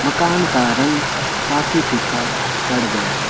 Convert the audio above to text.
मकान का रंग काफी फीका पड़ गया है।